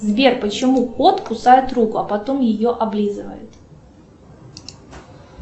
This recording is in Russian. сбер почему кот кусает руку а потом ее облизывает